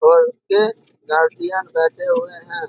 और उनके गर्जियन बैठे हुए हैं ।